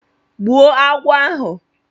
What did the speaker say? Gbuo agwọ ahụ!